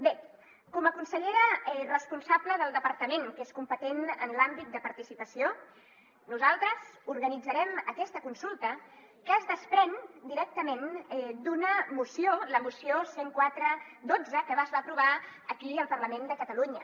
bé com a consellera responsable del departament que és competent en l’àmbit de participació nosaltres organitzarem aquesta consulta que es desprèn directament d’una moció la moció cent i quatre xii que es va aprovar aquí al parlament de catalunya